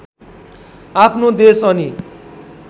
आफ्नो देश अनि